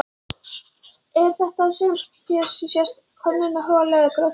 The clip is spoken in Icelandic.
Er þetta sem hér sést könnunarhola eða gröftur?